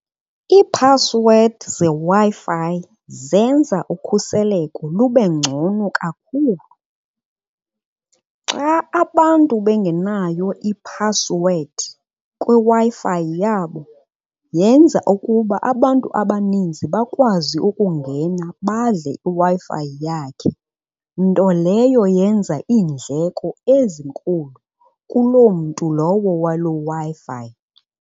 Iiphasiwedi zeWi-Fi zenza ukhuseleko lube ngcono kakhulu. Xa abantu bengenayo iphasiwedi kwiWi-Fi yabo yenza ukuba abantu abaninzi bakwazi ukungena badle iWi-Fi yakhe. Nto leyo yenza iindleko ezinkulu kuloo mntu lowo waloo Wi-Fi.